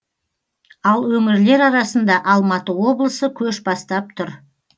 ал өңірлер арасында алматы облысы көш бастап тұр